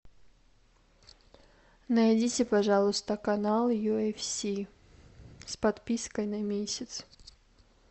найдите пожалуйста канал ю эф си с подпиской на месяц